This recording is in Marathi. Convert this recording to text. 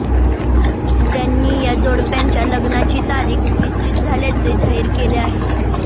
त्यांनी या जोडप्याच्या लग्नाची तारीख निश्चित झाल्याचे जाहीर केले आहे